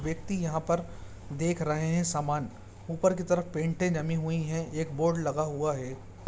व्यक्ति यहाँ पर देख रहे हैं सामान ऊपर की तरफ पेंटे जमी हुई हैं एक बोर्ड लगा हुआ है।